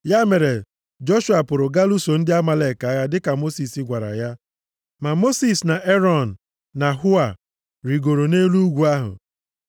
Ya mere, Joshua pụrụ gaa lụso ndị Amalek agha dịka Mosis gwara ya. Ma Mosis na Erọn na Hua, rigoro nʼelu ugwu ahụ.